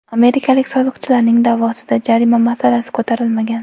Amerikalik soliqchilarning da’vosida jarima masalasi ko‘tarilmagan.